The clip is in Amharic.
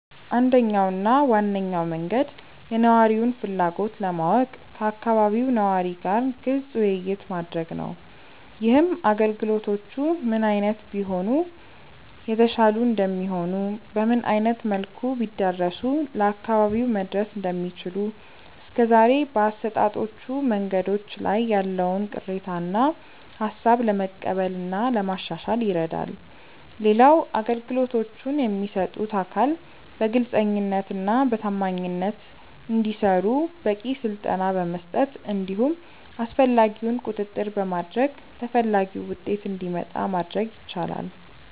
አንደኛው እና ዋነኛው መንገድ የነዋሪውን ፍላጎት ለማወቅ ከአካባቢው ነዋሪ ጋር ግልጽ ውይይት ማድረግ ነው። ይህም አገልግሎቶቹ ምን አይነት ቢሆኑ የተሻሉ እንደሚሆኑ፤ በምን አይነት መልኩ ቢዳረሱ ለአካባቢው መድረስ እንደሚችሉ፤ እስከዛሬ በአሰጣጦቹ መንገዶች ላይ ያለውን ቅሬታ እና ሃሳብ ለመቀበል እና ለማሻሻል ይረዳል። ሌላው አገልግሎቶቹን የሚሰጡት አካል በግልጸኝነት እና በታማኝነት እንዲሰሩ በቂ ስልጠና በመስጠት እንዲሁም አስፈላጊውን ቁጥጥር በማድረግ ተፈላጊው ውጤት እንዲመጣ ማድረግ ይቻላል።